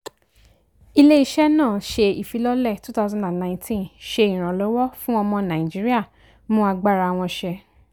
ilé-iṣẹ́ náà ṣe ìfilọ́lẹ̀ 2019 ṣe ìrànlọ́wọ́ fún ọmọ nàìjíríà mú agbára wọn ṣẹ.